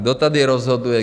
Kdo tady rozhoduje?